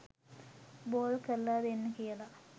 ball කරල දෙන්න කියලා